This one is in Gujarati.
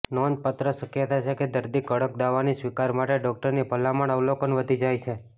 નોંધપાત્ર શક્યતા છે કે દર્દી કડક દવાની સ્વીકાર માટે ડોકટરની ભલામણ અવલોકન વધી જાય છે